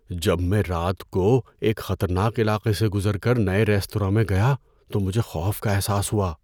جب میں رات کو ایک خطرناک علاقے سے گزر کر نئے ریستوراں میں گیا تو مجھے خوف کا احساس ہوا۔